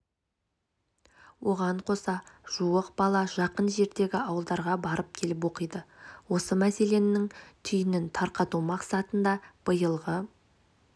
оған қоса жуық бала жақын жердегі ауылдарға барып-келіп оқиды осы мәселенің түйінін тарқату мақсатында биылғы